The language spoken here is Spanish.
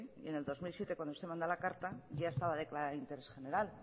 en el dos mil siete cuando usted manda la carta ya estaba declarada de interés general